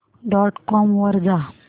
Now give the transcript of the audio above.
dot com वर जा